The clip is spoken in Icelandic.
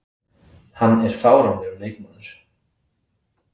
Hann er fáránlegur leikmaður.